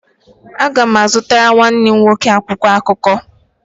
Aga m azụtara nwanne m nwoke akwụkwọ akụkọ